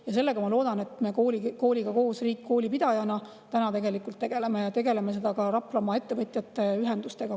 Ja sellega, ma loodan, me kooliga koos – riik koolipidajana – tegeleme, ja tegeleme ka koos Raplamaa ettevõtjate ühendustega.